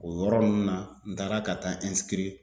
O yɔrɔ ninnu na n taara ka taa